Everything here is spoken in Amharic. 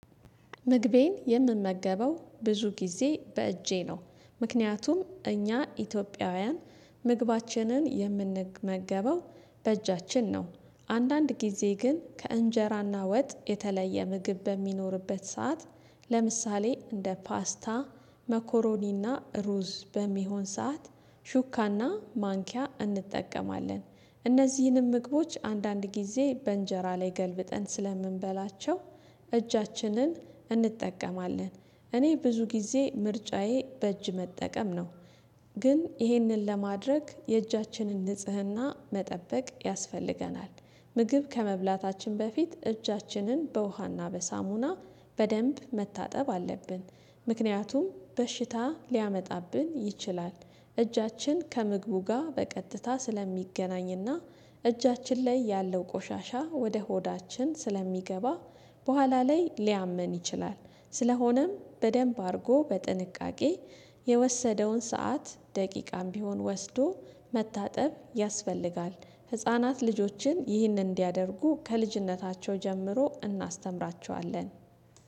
ምግቤን የምመገበው ብዙ ጊዜ በእጄ ነው። ምክንያቱም እኛ ኢትዮጵያውያን ምግባችንን የምንመገበው በእጃችን ነው። አንዳንድ ጊዜ ግን ከእንጀራና ወጥ የተለየ ምግብ በሚኖርበት ሰዓት። ለምሳሌ እንደ ፓስታ መኮሮኒ እና ሩዝ በሚሆን ሰዓት ሹካ እና ማንኪያ እንጠቀማለን። እነዚህንም ምግቦች አንዳንድ ጊዜ በእንጀራ ላይ ገልብጠን ስለምንበላቸው እጃችንን እኔ ብዙ ጊዜ ምርጫዬ በእጅ መጠቀም ነው። ግን ይህንን ለማድረግ የእጃችንን ንጽህና መጠበቅ ያስፈልገናል። ምግብ ከመብላታችን በፊት እጃችንን በውሃና በሳሙና በደንብ መታጠብ አለብን። ምክንያቱም በሽታ ሊያመጣብን ይችላል። እጃችን ከምግቡ ጋር በቀጥታ ስለሚገናኝ እና እጃችን ላይ ያለው ቆሻሻ ወደ ሆዳችን ስለሚገባ በኋላ ላይ ሊያመን ይችላል። ስለሆነም በደንብ አድርጎ በጥንቃቄ የወሰደውን ሰዓት ደቂቃም ቢሆን ወስዶ መታጠብ ያስፈልጋል። ህፃናት ልጆችን ይህንን እንዲያደርጉ ከልጅነታቸው ጀምሮ እናስተምራቸዋለን።